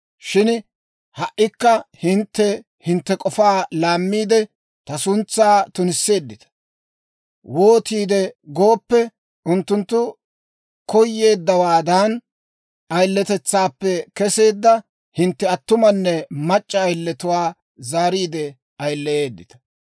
Shin ha"ikka hintte hintte k'ofaa laammiide, ta suntsaa tunisseeddita. Wootiide gooppe, unttunttu koyeeddawaadan, ayiletetsaappe kesseedda hintte attumanne mac'c'a ayiletuwaa zaariide ayileyeedita.